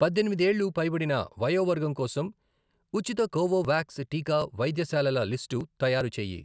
పద్దెనిమిది ఏళ్లు పైబడిన వయోవర్గం కోసం ఉచిత కోవోవాక్స్ టీకా వైద్యశాలల లిస్టు తయారు చేయి.